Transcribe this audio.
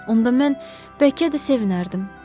onda mən bəlkə də sevinərdim.